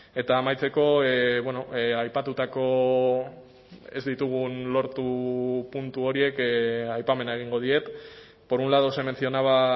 eta amaitzeko aipatutako ez ditugun lortu puntu horiek aipamena egingo diet por un lado se mencionaba